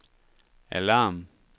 alarm